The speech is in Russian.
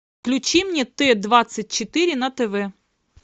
включи мне т двадцать четыре на тв